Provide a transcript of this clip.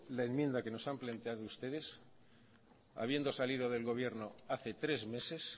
la enmienda que nos han planteado ustedes habiendo salido del gobierno hace tres meses